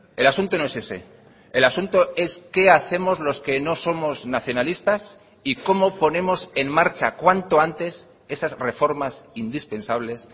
el asunto no es ese el asunto es qué hacemos los que no somos nacionalistas y cómo ponemos en marcha cuanto antes esas reformas indispensables